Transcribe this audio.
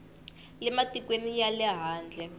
le matikweni ya le handle